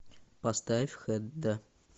поставь хедда